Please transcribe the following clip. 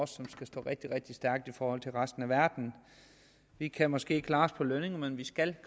som skal stå rigtig rigtig stærkt i forhold til resten af verden vi kan måske klare os på lønningerne men vi skal